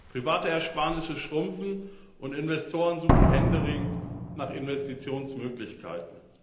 Private Ersparnisse schrumpfen, und Investoren suchen händeringend nach Investitionsmöglichkeiten.